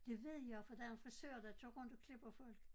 Det ved jeg for der er frisører der tager rundt og klipper folk